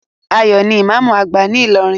Ayo ní imamu agba ní ilorin